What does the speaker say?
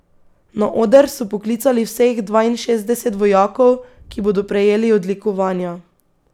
Na oder so poklicali vseh dvainšestdeset vojakov, ki bodo prejeli odlikovanja.